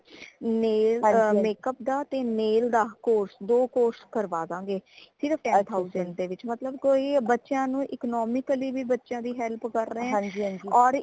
nail makeup ਦਾ ਤੇ nail ਦਾ course ਦੋ course ਕਰਵਾ ਦੰਗੇਹ ਸਿਰਫ ten thousand ਦੇ ਵਿਚ ਮਤਲਬ ਕੋਈ ਬੱਚਿਆਂ ਨੂੰ economically ਵੀ ਬੱਚਿਆਂ ਦੀ help ਕਰ ਰਏ ਹੈ ਔਰ